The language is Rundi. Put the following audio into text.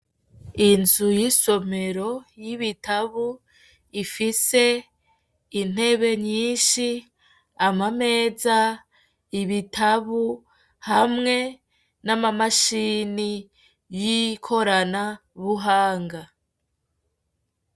inzu y'isomero y’ibitabo ifise intebe nyinshi amameza, ibitabo hamwe nama mashini y'ikoranabuhanga.